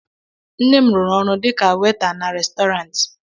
Nne m rụrụ ọrụ dịka weta na restọranti